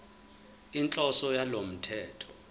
inhloso yalo mthetho